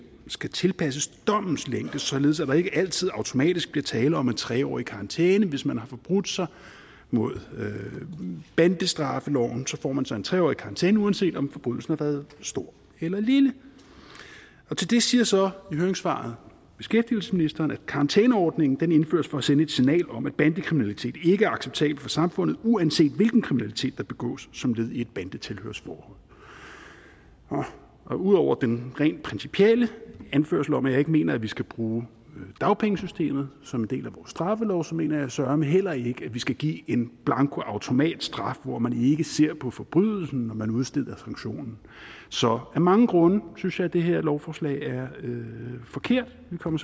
skal tilpasses dommens længde således at der ikke altid automatisk bliver tale om en tre årig karantæne hvis man har forbrudt sig mod bandestraffeloven får man så en tre årig karantæne uanset om forbrydelsen har været stor eller lille til det siger så i høringssvaret beskæftigelsesministeren at karantæneordningen indføres for at sende et signal om at bandekriminalitet ikke er acceptabelt for samfundet uanset hvilken kriminalitet der begås som led i bandetilhørsforhold ud over den rent principielle anførelse om at jeg ikke mener at vi skal bruge dagpengesystemet som en del af vores straffelov så mener jeg søreme heller ikke at vi skal give en blankoautomatstraf hvor man ikke ser på forbrydelsen når man udsteder sanktionen så af mange grunde synes jeg at det her lovforslag er forkert vi kommer